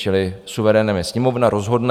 Čili suverénem je Sněmovna, rozhodne.